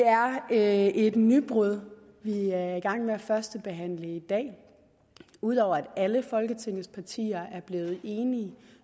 er et nybrud vi er i gang med at førstebehandle i dag ud over at alle folketingets partier er blevet enige